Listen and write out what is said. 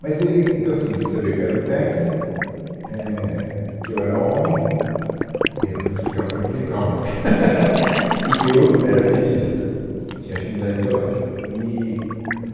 Mas ele, então assim, ele sabia que eu era um técnico, éh, que eu era homem, e é, eu vou te explicar por que, calma, e que eu era petista, tinha afinidade ideológica, eee é o,